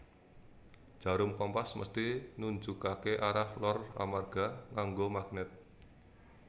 Jarum kompas mesthi nunjukake arah lor amarga nganggo magnet